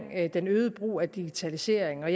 den øgede brug af digitalisering og